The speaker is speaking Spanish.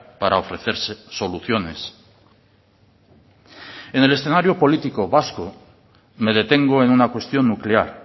para ofrecerse soluciones en el escenario político vasco me detengo en una cuestión nuclear